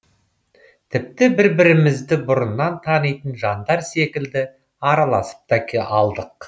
тіпті бір бірімізді бұрыннан танитын жандар секілді араласып та алдық